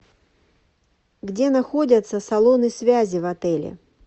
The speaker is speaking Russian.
где находятся салоны связи в отеле